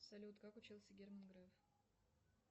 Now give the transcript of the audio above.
салют как учился герман греф